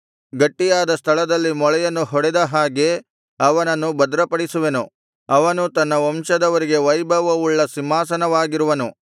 ಗಟ್ಟಿಯಾದ ಸ್ಥಳದಲ್ಲಿ ಮೊಳೆಯನ್ನು ಹೊಡೆದ ಹಾಗೆ ಅವನನ್ನು ಭದ್ರಪಡಿಸುವೆನು ಅವನು ತನ್ನ ವಂಶದವರಿಗೆ ವೈಭವವುಳ್ಳ ಸಿಂಹಾಸನವಾಗಿರುವನು